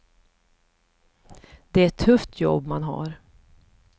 Det är ett tufft jobb man har.